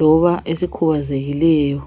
noma esikhozekileyo